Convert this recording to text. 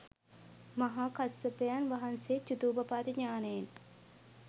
මහා කස්සපයන් වහන්සේ චුතූපපාත ඤාණයෙන්